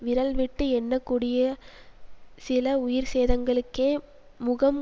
விரல்விட்டு எண்ணக்கூடியசில உயிர் சேதங்களுக்கே முகம்